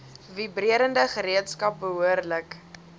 vibrerende gereedskap behoorlik